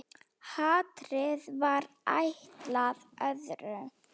Hatrið var ætlað öðrum.